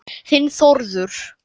Þinn Þórður.